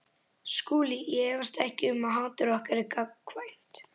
SKÚLI: Ég efast ekki um að hatur okkar er gagnkvæmt.